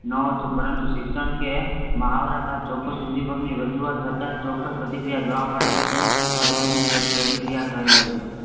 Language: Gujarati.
ન હતું પરંતુ શિક્ષણ કે માહાવરાબાદ ચોક્કસ ઉદ્દીપકની રાજુવાત થતાં ચોક્કસ પ્રતિક્રિયા જોવા મળે તો તેને અભિસંધિત પ્રતિક્રિયા કહવાયછે.